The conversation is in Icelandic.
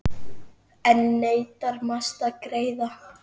Enn neitar Mast að greiða.